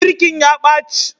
Birkin ya ɓaci